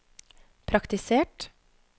praktisert